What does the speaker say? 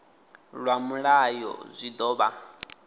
lwa mulayo zwi ḓo vha